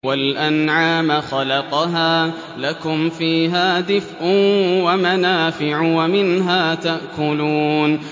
وَالْأَنْعَامَ خَلَقَهَا ۗ لَكُمْ فِيهَا دِفْءٌ وَمَنَافِعُ وَمِنْهَا تَأْكُلُونَ